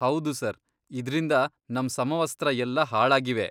ಹೌದು ಸರ್, ಇದ್ರಿಂದ ನಮ್ ಸಮವಸ್ತ್ರ ಎಲ್ಲ ಹಾಳಾಗಿವೆ.